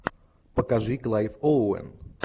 покажи клайв оуэн